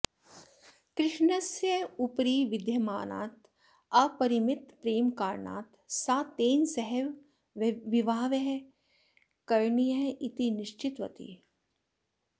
कृष्णस्य उपरि विद्यमानात् अपरिमितप्रेमकारणात् सा तेन सहैव विवाहः करणीयः इति निश्चितवती